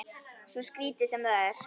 Svo skrítið sem það er.